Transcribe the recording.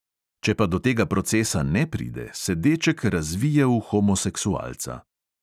Če pa do tega procesa ne pride, se deček razvije v homoseksualca.